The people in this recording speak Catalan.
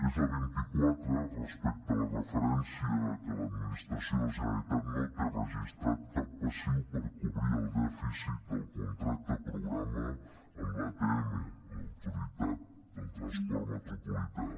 és la vint quatre respecte a la referència a que l’administració de la generalitat no té registrat cap passiu per cobrir el dèficit del contracte programa amb l’atm l’autoritat del transport metropolità